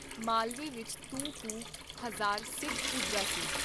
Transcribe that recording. ਮਾਲਵੇ ਵਿਚ ਤੂੰ ਕੁ ਹਜ਼ਾਰ ਸਿੱਖ ਪੁੱਜਾ ਸੀ।